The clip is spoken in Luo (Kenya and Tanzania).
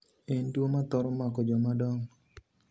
En tuo madhoro mako jam dong'o.